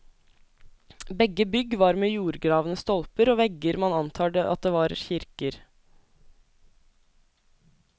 Begge bygg var med jordgravne stolper og vegger og man antar at det var kirker.